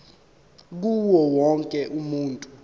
kuwo wonke umuntu